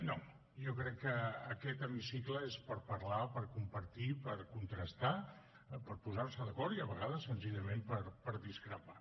no jo crec que aquest hemicicle és per parlar per compartir per contrastar per posar se d’acord i a vegades senzillament per discrepar